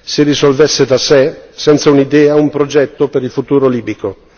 si risolvesse da sé, senza un'idea, un progetto per il futuro libico.